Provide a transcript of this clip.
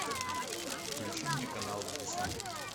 включи мне канал дисней